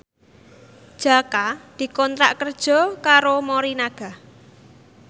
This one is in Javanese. Jaka dikontrak kerja karo Morinaga